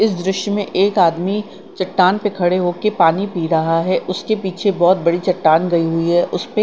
इस दृश्य में एक आदमी चट्टान पे खड़े होके पानी पि रहा रहा है उसके पीछे बहोत बड़ी चट्टान गई हुई है उसपे--